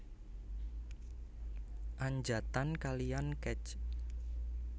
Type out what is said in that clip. Anjatan kalian Kec